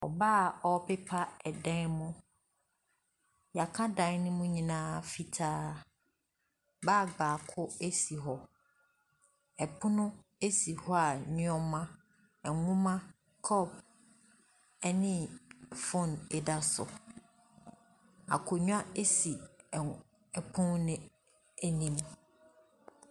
Ɔbaa a ɔrepepa dan mu. Yɛaka dan no mu nyinaa fitaa. Bag baako si hɔ. Ɛpono esi hɔ a nnoɔma, nwoma, cup ne phone da so. Akonnwa esi ɛpono no anim.